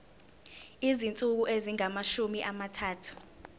izinsuku ezingamashumi amathathu